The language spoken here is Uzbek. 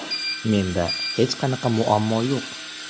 Menda hech qanaqa muammo yo‘q.